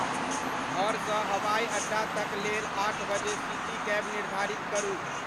घर स हवाई अड्डा तक लेल आठ बजे सिटी कैब निर्धारित करू